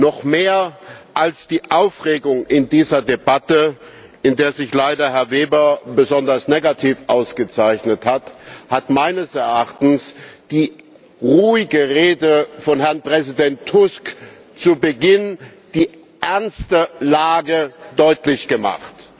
Noch mehr als die Aufregung in dieser Debatte, in der sich leider Herr Weber besonders negativ ausgezeichnet hat, hat meines Erachtens die ruhige Rede von Herrn Präsident Tusk zu Beginn die ernste Lage deutlich gemacht.